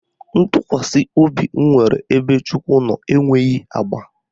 Ntụkwasị obi m nwere ebe Chukwu nọ enweghị agba